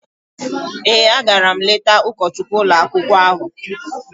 Ee, agara m letaa ụkọchukwu ụlọakwụkwọ ahụ.